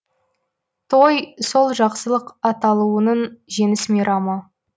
той сол жақсылық атаулының жеңіс мейрамы